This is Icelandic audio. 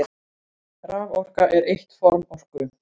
Raforka er eitt form orku.